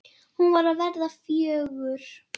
Hún var að verða fjögur.